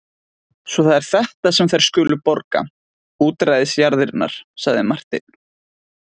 Svo það er þetta sem þær skulu borga útræðisjarðirnar, sagði Marteinn.